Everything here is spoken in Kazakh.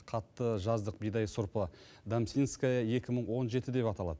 қатты жаздық бидай сұрпы дамсинская екі мың он жеті деп аталады